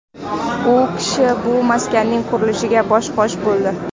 U kishi bu maskanning qurilishiga bosh-qosh bo‘ldi.